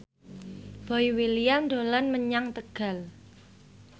Boy William dolan menyang Tegal